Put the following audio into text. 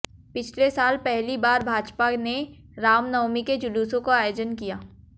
पिछले साल पहली बार भाजपा ने रामनवमी के जुलूसों का आयोजन किया